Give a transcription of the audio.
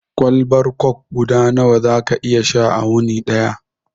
Kwalbar kok guda nawa za ka iya sha a wuni daya?